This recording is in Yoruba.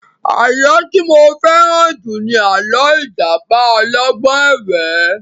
Àlọ́ tí mo fẹ́ràn jù ni àlọ́ ìjàpá ọlọ́gbọ́n ẹ̀wẹ́